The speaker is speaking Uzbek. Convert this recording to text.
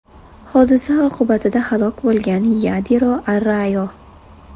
Hodisa oqibatida halok bo‘lgan Yadiro Arrayo.